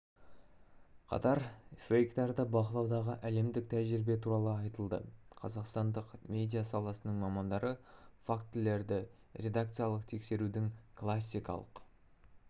қатар фейктерді бақылаудағы әлемдік тәжірибе туралы айтылды қазақстандық медиа саласының мамандары фактілерді редакциялық тексерудің классикалық